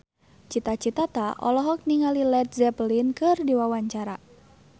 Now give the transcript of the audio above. Cita Citata olohok ningali Led Zeppelin keur diwawancara